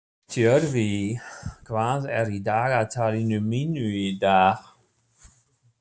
Tjörvi, hvað er í dagatalinu mínu í dag?